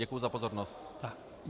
Děkuji za pozornost.